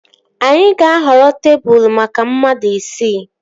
Anyị ga-ahọrọ tebụl maka mmadụ isii